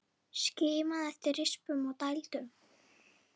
Skimaðu eftir rispum og dældum.